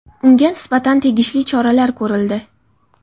Unga nisbatan tegishli choralar ko‘rildi.